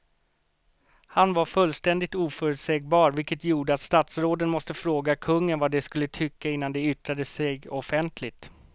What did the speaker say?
Han var fullständigt oförutsägbar vilket gjorde att statsråden måste fråga kungen vad de skulle tycka innan de yttrade sig offentligt.